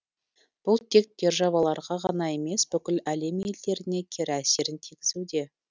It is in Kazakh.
бұл тек державаларға ғана емес бүкіл әлем елдеріне кері әсерін тигізуде